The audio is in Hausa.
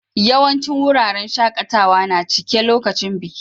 Yawancin wuraren shakatawa na cike lokacin biki.